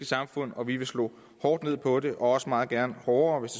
samfund og vi vil slå hårdt ned på det og også meget gerne hårdere hvis